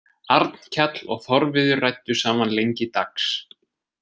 Arnkell og Þorviður ræddu saman lengi dags.